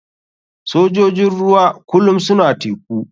Sojojin ruwa kulum suna teku.